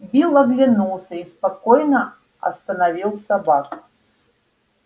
билл оглянулся и спокойно остановил собак